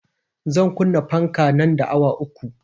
Zan kunna fanka nan da awa uku